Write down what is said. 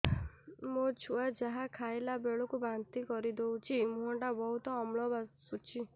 ମୋ ଛୁଆ ଯାହା ଖାଇଲା ବେଳକୁ ବାନ୍ତି କରିଦଉଛି ମୁହଁ ଟା ବହୁତ ଅମ୍ଳ ବାସୁଛି